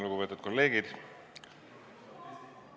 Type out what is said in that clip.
Lugupeetud kolleegid!